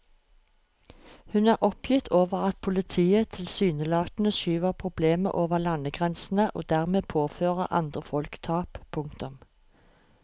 Hun er oppgitt over at politiet tilsynelatende skyver problemet over landegrensene og dermed påfører andre folk tap. punktum